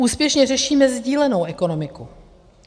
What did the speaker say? Úspěšně řešíme sdílenou ekonomiku.